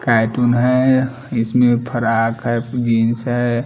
Cartoon हैं इसमें frock हैं जीन्स हैं ।